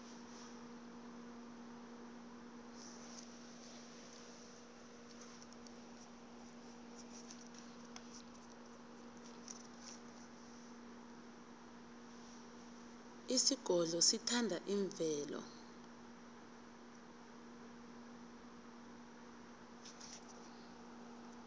isigodlo sithanda imvelo